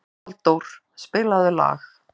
Valdór, spilaðu lag.